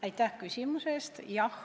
Aitäh küsimuse eest!